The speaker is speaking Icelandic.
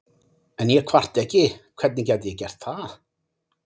En ég kvarta ekki, hvernig gæti ég gert það?